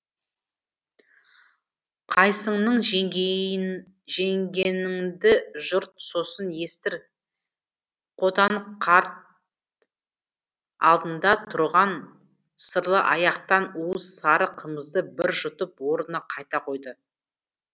қайсыңның жеңгеніңді жұрт сосын естір қотан қарт алдында тұрған сырлы аяқтан уыз сары қымызды бір жұтып орнына қайта қойды